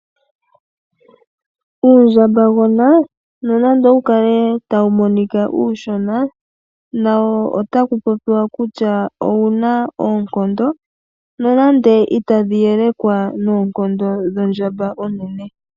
Uundjambagona nonando owu kale tawu monika uushona nawo otaku popiwa kutya owu na oonkondo, nonande itadhi elekwa noonkondo dhondjamba onene.